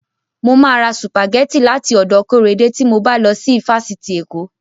Mo ma ra sùpàgẹ́tì láti ọ̀dọ̀ Kóredé tí mo bá lọ sí ifásitì Èkó